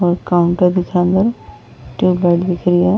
और काउंटर दिख ट्यूबलाइट दिख रही है।